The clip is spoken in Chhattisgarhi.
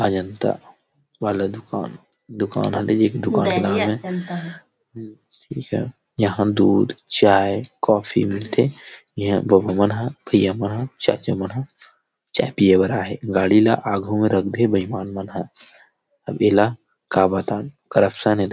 अजंता वाला दुकान - दुकान यहाँ दूध चाय कॉफी मिलथे इहां बाबा मन ह भैय्या मन ह चाचा मन ह चाय पिए बर आए हे गाड़ी ल आगु मे रख दे हे बहिमान मन ह अब एला का बताओ करपसन --